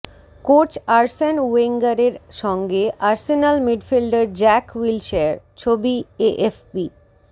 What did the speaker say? coach Arsene ওয়েঙ্গারের সঙ্গে Arsenal midfielder Jack Wilshere ছবিঃ এএফপি